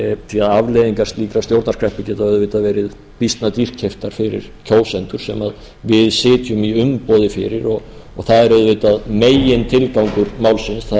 því að afleiðingar slíkrar stjórnarkreppu geta auðvitað verið býsna dýrkeyptar fyrir kjósendur sem við sitjum í umboði fyrir það er auðvitað megintilgangur málsins það